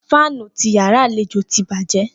Fànú ti yàrá àléjò tì bàjẹ